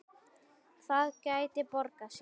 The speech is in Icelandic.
Það gæti borgað sig.